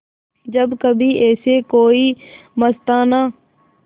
जब कभी ऐसे कोई मस्ताना